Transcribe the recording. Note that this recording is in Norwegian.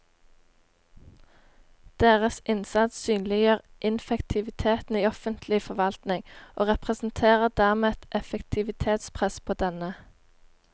Deres innsats synliggjør ineffektiviteten i offentlig forvaltning og representerer dermed et effektivitetspress på denne.